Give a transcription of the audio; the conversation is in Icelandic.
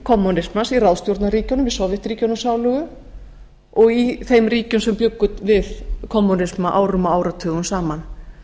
kommúnismans í ráðstjórnarríkjunum í sovétríkjunum sálugu og í þeim ríkjum sem bjuggu við kommúnisma árum og áratugum saman